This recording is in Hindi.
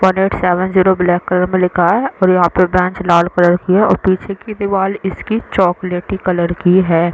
One eight seven zero black colour में लिखा है और यहाँ पर बेंच लाल कलर की है और पीछे की दीवाल इसकी चोकलेटी कलर की है।